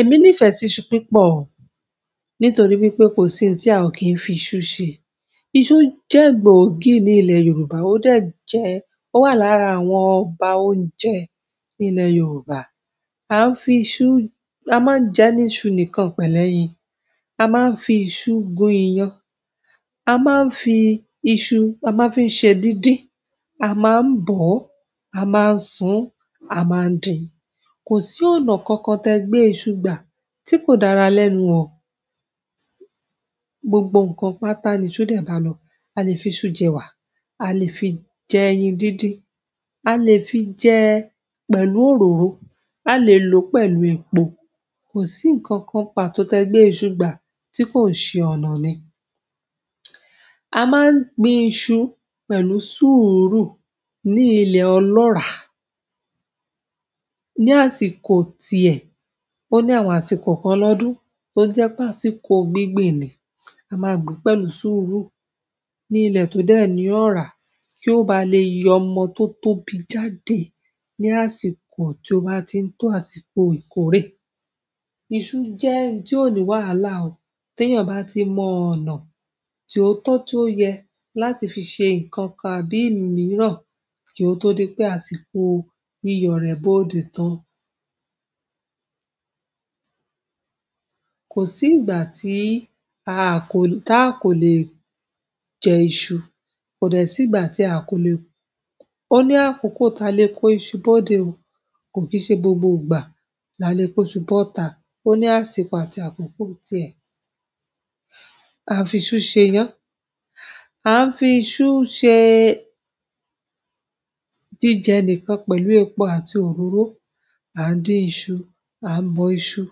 Èmi nífẹ̀ẹ́ iṣu pípọ̀, nítorí wípé kò sí ohun tí a kì í fi iṣu ṣe. Iṣu jẹ́ gbòógì ní ilẹ̀ Yorùbá, ó dẹ̀ jẹ́, ó wà lára àwọn ọba oúnjẹ nílẹ̀ Yorùbá. A n fi iṣu, a maa n jẹ ni iṣu nìkan pẹ̀lú ẹ̀yìn. A máa n fi iṣu gun iyan. A máa n fi iṣu, a maa n fi ṣe díndín. A má ń bọ̀ ọ́, a má ń sun, a má ń dín. Kò sí ọ̀nà kankan tí ẹ gbé iṣu gbà tí kò dára lẹ́nu o gbogbo nkan pàtàkì nínú dẹ ba lọ. A lè fi iṣu jẹ́ ẹwa, a lè fi jẹ́ ẹyin dídín, a lè fi jẹ́ pẹ̀lú òróró, a lè lò ó pẹ̀lú epo. Kò sí ǹkan kan pàtó tí ẹ gbé iṣu gbà tí kò ṣe ọ̀nà ni. A máa n gbin iṣu pé sùúrù ni ilẹ̀ ọlọra ni àsìkò tiẹ̀, o ní àwọn àsìkò kan lọ́dún tó jẹ́ pé àsìkò gbígbìn ni, a máa gbìn pẹ̀lú sùúrù ní ilẹ̀ tó dẹ ní ọ̀rá kí ó ba lè yọ ọmọ tó tóbi jáde ní àsìkò tí ó bá ti ń tó àsìkò ìkórè. Iṣu jẹ́ ohun tí ò ní wàhálà o. Téèyàn ba ti mọ ọ̀nà ti o tọ, ti o yẹ láti fi ṣe nkankan àbí imiiran kio to di pe àsìkò yíyọ rẹ̀ boode tan. Kò sí ìgbà tí a kò lè jẹ iṣu. Kò dẹ́ sí ìgbà tí a kò lè-- ó ní àkókò táa lè kó iṣu bó dé o. Kò kì í ṣe gbogbo ìgbà la lè kó iṣu bọ́ta. Ó ní àsìkò àti àkókò tiẹ̀. A ń fi iṣu ṣe iyán. A ń fi iṣu ṣe jẹjẹ nìkan pẹ̀lú epo àti òróró. A ń dín iṣu, a ń bọ iṣu.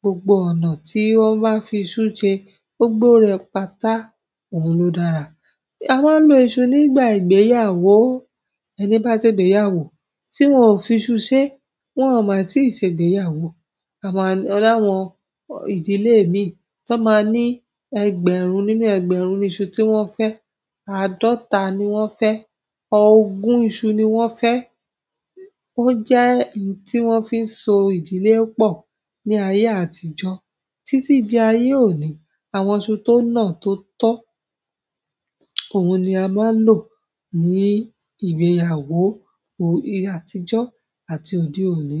Gbogbo ọ̀nà tí wọ́n bá fi iṣu ṣe, gbogbo re pátá, ohun ló dára. A máa ń lo iṣu nígbà ìgbéyàwó ó. Ẹni ba ṣe ìgbéyàwó ti wọn o fi iṣu ṣe e, wọn o ma tii se ìgbéyàwó. O ni àwọn ìdílé mii ti wọn maa ni, ẹgbẹ̀rún nínú ẹgbẹ̀rún ni iṣu ti wọn fẹẹ, àádọta ni wọn fẹẹ, ogún iṣu ni wọn fẹẹ. Ó jẹ́ ohun tí wọ́n fi ń so ìdílé pọ̀ ní ayé àtijọ́ títí di ayé òní. Àwọn iṣu tó nà tó tọ́, ohun ni a máa lò ní ìgbéyàwó àtijọ́ àti òde òní.